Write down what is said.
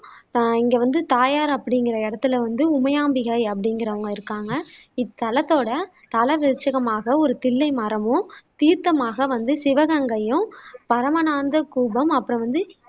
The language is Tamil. அஹ் இங்க வந்து தாயார் அப்படிங்குற இடத்துல வந்து உமையாம்பிகை அப்படிங்குறவங்க இருக்காங்க இத்தலத்தோட தலவிருட்சிகமாக ஒரு தில்லை மரமும் தீர்த்தமாக வந்து சிவகங்கையும் பரமானந்த கூபம் அப்பறம் வந்து